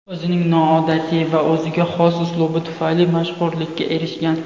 O‘zining noodatiy va o‘ziga xos uslubi tufayli mashhurlikka erishgan.